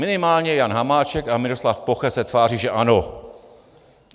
Minimálně Jan Hamáček a Miroslav Poche se tváří, že ano.